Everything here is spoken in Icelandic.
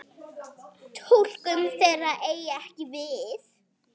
Túlkun þeirra eigi ekki við.